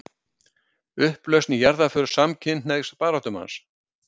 Upplausn í jarðarför samkynhneigðs baráttumanns